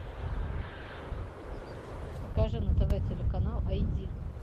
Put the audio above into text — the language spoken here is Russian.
покажи на тв телеканал айди